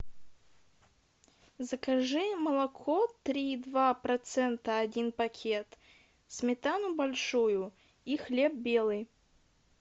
закажи молоко три и два процента один пакет сметану большую и хлеб белый